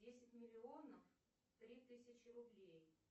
десять миллионов три тысячи рублей